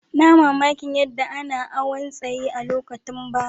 N'na mamaki yadda ana awon tsayi a'lokutan baya.